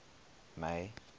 may